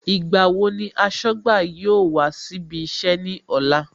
Ìgbà wo ni aṣọ́gbà yóò wá síbí iṣẹ́ ní ọ̀la